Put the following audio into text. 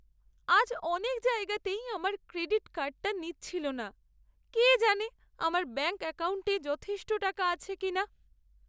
আজ অনেক জায়গাতেই আমার ক্রেডিট কার্ডটা নিচ্ছিল না। কে জানে আমার ব্যাঙ্ক অ্যাকাউন্টে যথেষ্ট টাকা আছে কিনা।